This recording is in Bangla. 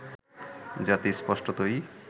জাতি স্পষ্টতই